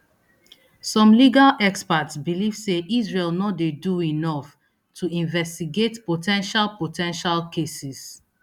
some legal experts believe say israel no dey do enough to investigate po ten tial po ten tial cases